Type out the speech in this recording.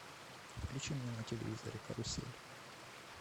включи мне на телевизоре карусель